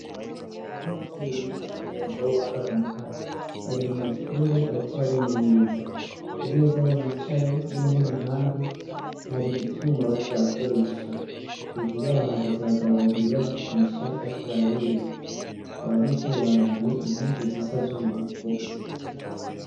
Abanyeshure biz' umwuga wo gukor' umuyagankuba bari mw' ishure bariko barimenyereza , ku mez' aho bicaye n' inteb' impande har' ivyuma bariko barakoresha, hejuru yabo hahagaz' abagabo babiri ba bigisha bariko barabereka, abo banyeshure bambay' impuzu z' ubururu bose.